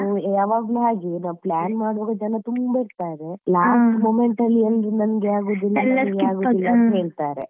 ಯಾವಾಗ್ಲೂ ಹಾಗೆ ನಾವು plan ಮಾಡುವಾಗ ಜನ ತುಂಬಾ ಇರ್ತಾರೆ last movement ಅಲ್ಲಿ ಎಲ್ಲಾ ನಂಗೆ ಆಗುದಿಲ್ಲ ಎಲ್ಲಾ ಹೇಳ್ತಾರೆ.